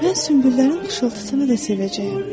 Mən sünbüllərin xışıltısını da sevəcəyəm.